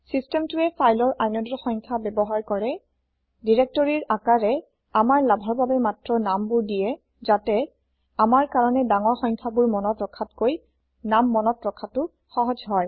চিচটেমটোৱে ফাইলৰ inodeৰ সংখ্যা ব্যৱহাৰ কৰে দিৰেক্তৰিৰ আকাৰে আমাৰ লাভৰ বাবে মাত্ৰ নামবোৰ দিয়ে যাতে আমাৰ কাৰণে ডাঙৰ সংখ্যাবোৰ মনত ৰখাতকৈ নাম মনত ৰখাটো সহজ হয়